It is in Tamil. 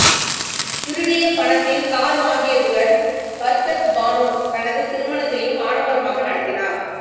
திருடிய பணத்தில் கார் வாங்கியதுடன் பர்கத் பானு தனது திருமணத்தையும் ஆடம்பரமாக நடத்தினார்